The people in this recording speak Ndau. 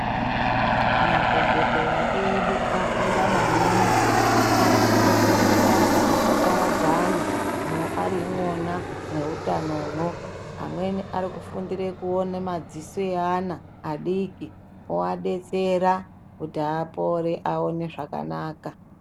Madhogodheya edu afunda maningi arikufundira mabasa akaparadzana ari imwona mweutano mwo, amweni arikufundira kuone madziso eana adiki oadetsera kuti apore aone zvakanaka.